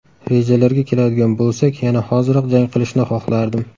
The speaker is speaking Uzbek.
Rejalarga keladigan bo‘lsak, yana hoziroq jang qilishni xohlardim.